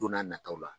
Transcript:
Don n'a nataw la